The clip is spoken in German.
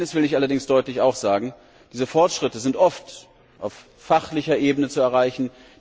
Eines will ich allerdings auch deutlich sagen Diese Fortschritte sind oft auf fachlicher Ebene zu erreichen.